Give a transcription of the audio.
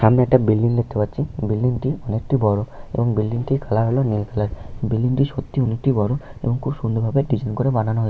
সামনে একটা বিল্ডিং দেখতে পাচ্ছি ।বিল্ডিং টি অনেকটি বড় । এবং বিল্ডিং টি কালার হলো নীল কালার। বিল্ডিং টি সত্যি অনেকটি বড়এবং খুব সুন্দর ভাবে ডিজাইন করে বানানো হয়ে--।